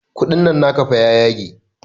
Kuɗin nan naka fa ya yage